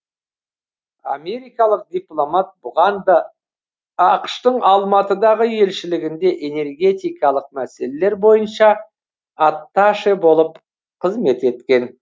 америкалық дипломат бұған да ақш тың алматыдағы елшілігінде энергетикалық мәселелер бойынша атташе болып қызмет еткен